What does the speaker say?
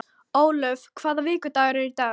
Ólöf, hvaða vikudagur er í dag?